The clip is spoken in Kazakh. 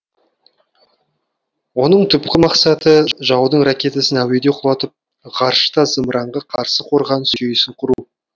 оның түпкі мақсаты жаудың ракетасын әуеде құлатып ғарышта зымыранға қарсы қорғаныс жүйесін құру